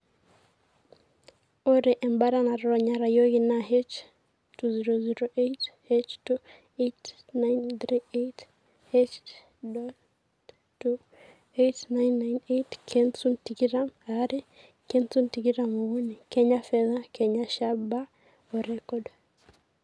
0ree embata natonyorayioki naa H-008,H-8938,H-8998,KENSUN TIKITAM AARE, KENSUN TIKITAM OKUNI, KENYA FEDHA, KENYA SHABA O REKORD